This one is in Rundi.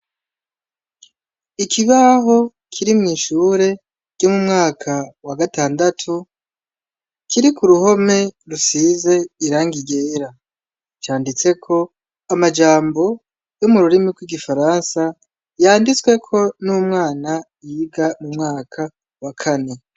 Ikibaho kiri mw'ishure ryo mu mwaka wa gatandatu, kiri ku ruhome rusize irangi ryera; canditse amajambo yo mu rurimi rw'igifaransa yanditsweko n'umwana yiga mu mwaka wa kane.